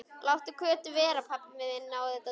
Láttu Kötu vera, pabbi minn á þetta tún!